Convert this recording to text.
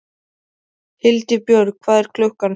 Hildibjörg, hvað er klukkan?